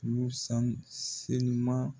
Y'u san selima